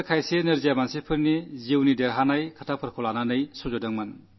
അതിൽ ചില ദിവ്യാംഗരുടെ ജീവിതത്തിലെ വിജയഗാഥകളാണ് സംഗ്രഹിച്ചിരുന്നത്